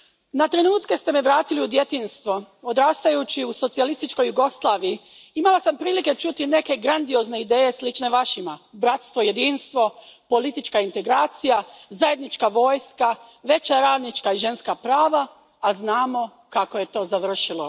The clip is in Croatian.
Na trenutke ste me vratili u djetinjstvo. Odrastajući u socijalističkoj Jugoslaviji imala sam prilike čuti neke grandiozne ideje slične Vašima. Bratstvo i jedinstvo, politička integracija, zajednička vojska, veća radnička i ženska prava, a znamo kako je to završilo.